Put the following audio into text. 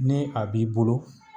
Ni a b'i bolo